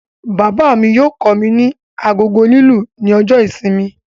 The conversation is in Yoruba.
Bàbá mí yóò kọ mí ní agogo lilu ní ọjọ ìsinmi